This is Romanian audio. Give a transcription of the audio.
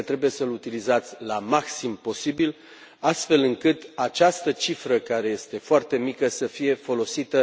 Cred că trebuie să l utilizați la maxim, astfel încât această cifră, care este foarte mică, să fie folosită